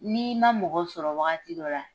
Ni i ma mɔgɔ sɔrɔ wagati dɔ la